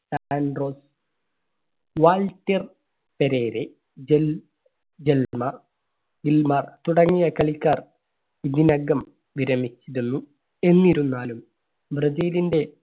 ആ~ആൻഡ്രോ, Waldir Pereira, Gil, Gilmar, Gilmar തുടങ്ങിയ കളിക്കാർ ഇതിനകം വിരമിച്ചിരുന്നു. എന്നിരുന്നാലും ബ്രസീലിന്റെ